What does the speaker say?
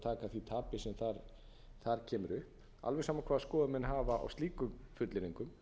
verði að taka því tapi sem þar kemur upp alveg sama hvaða skoðun menn hafa á slíkum fullyrðingum